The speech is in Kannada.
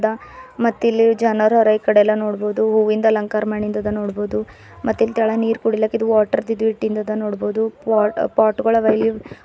ಮತ್ತ್ ಇಲ್ಲಿ ಜನರ ಹರ ಈಕಡೆ ಎಲ್ಲಾ ನೋಡ್ಬಹುದು ಹೂವಿಂದ ಅಲಂಕಾರದ ಮಾಡಿಂದ ಅದ ನೋಡ್ಬಹುದು ಮತ್ತ್ ಇಲ್ಲಿ ತೆಳಗ ನೀರ ಕುಡಿಲಕ ಇದು ವಾಟರ್ ಇದು ಇಟ್ಟಿಂದ ಅದ ನೋಡ್ಬಹುದು ಪೋಟ್ ಪೊಟ್ ಗೋಳ ಅವ.